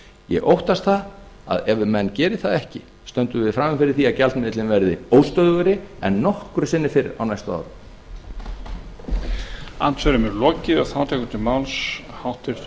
ég óttast það að ef menn gera það ekki stöndum við frammi fyrir því að gjaldmiðillinn verði óstöðugri en nokkru sinni fyrr á næstu árum